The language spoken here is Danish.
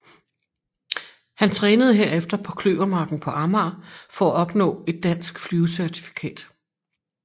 Han trænede herefter på Kløvermarken på Amager for at opnå et dansk flyvecertifikat